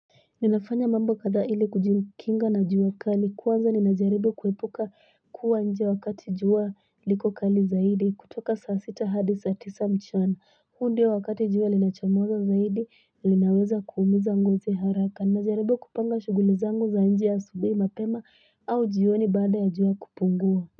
Ninafanya mambo kada iliku jinkinga na juwa kali, kuwaza ninajaribu kwepuka kwa njiwa wakati juwa liko kali zaidi kutoka sasita hadi satisa mchuan. Hudio wakati juwa linajamuza zaidi linaweza kumizanguze haraka, nijaribu kupanga shugulizanguza njiya subi mapema au jiwoni bada ya juwa kupunguwa.